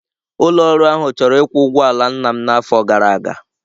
Ụlọ ọrụ ahụ chọrọ ịkwụ ụgwọ ala nna m n'afọ gara aga.